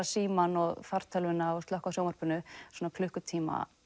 símann fartölvuna og slökkva á sjónvarpinu svona klukkutíma